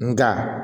Nga